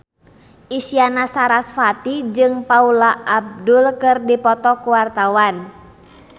Isyana Sarasvati jeung Paula Abdul keur dipoto ku wartawan